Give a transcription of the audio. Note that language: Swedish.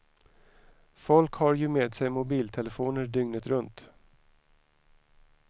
Folk har ju med sig mobiltelefoner dygnet runt.